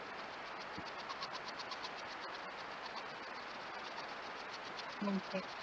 உம் okay